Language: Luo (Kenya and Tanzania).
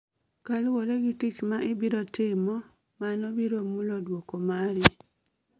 kaluwore gi tich ma ibiro timo, mano biro mulo duoko mai